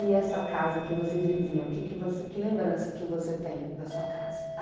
E essa casa que vocês viviam, que lembrança que você tem da sua casa?